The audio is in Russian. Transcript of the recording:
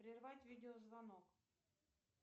прервать видеозвонок